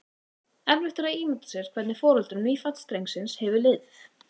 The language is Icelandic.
Erfitt er að ímynda sér hvernig foreldrum nýfædds drengsins hefur liðið.